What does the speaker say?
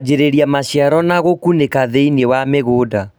Kwanjĩrĩria maciaro na gũkunĩka thĩinĩ wa mĩgũnda